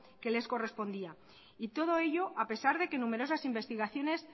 que les correspondía y todo ello a pesar de que numerosas investigaciones